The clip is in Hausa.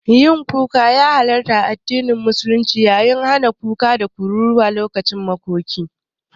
Yin hawaye ya halarta, amma addinin musulunci ya yi hani da kuka da kururuwa lokacin makoki.